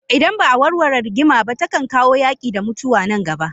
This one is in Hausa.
Idan ba a warware rigima ba takan kawo yaki da mutuwa nan gaba.